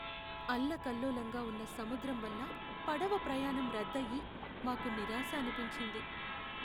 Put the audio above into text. అల్లకల్లోలంగా ఉన్న సముద్రం వల్ల పడవ ప్రయాణం రద్దయి, మాకు నిరాశ అనిపించింది.